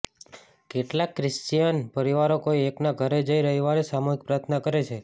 કેટલાંક ક્રિશ્ચિયયન પરિવારો કોઈ એકના ઘરે જઈ રવિવારે સામૂહિક પ્રાર્થના કરે છે